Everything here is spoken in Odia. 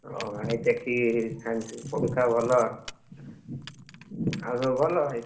ଓ ଭାଇ ଦେଖିକି Science ପଢୁଥାଅ ଭଲ। ଆଉ ସବୁ ଭଲ ଭାଇ?